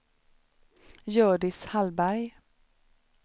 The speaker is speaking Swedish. Hjördis Hallberg